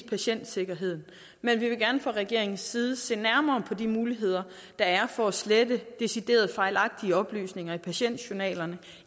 patientsikkerhed men vi vil gerne fra regeringens side se nærmere på de muligheder der er for at slette decideret fejlagtige oplysninger i patientjournalerne